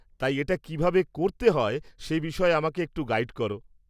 তাই এটা কিভাবে করতে হয় সে বিষয়ে আমাকে একটু গাইড করো।